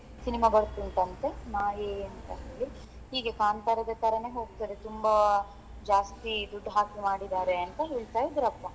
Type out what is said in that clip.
Cinema ಬರ್ತಾ ಉಂಟಂತೆ ಮಾಯೆ ಅಂತ ಹೀಗೆ ಕಾಂತಾರದ ತರನೇ ಹೋಗ್ತಾದೆ ತುಂಬಾ ಜಾಸ್ತಿ ದುಡ್ಡು ಹಾಕಿ ಮಾಡಿದ್ದಾರೆ ಅಂತ ಹೇಳ್ತಾ ಇದ್ರಪ್ಪಾ.